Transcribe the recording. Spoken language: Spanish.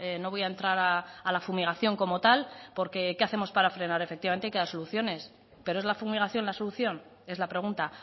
no voy a entrar a la fumigación como tal porque qué hacemos para frenar efectivamente hay que dar soluciones pero es la fumigación la solución es la pregunta